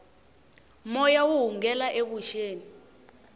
moya wu hungela evuxeni